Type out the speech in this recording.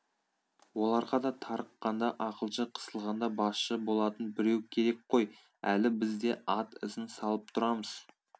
оларға да тарыққанда ақылшы қысылғанда басшы болатын біреу керек қой әлі біз де ат ізін салып тұрамыз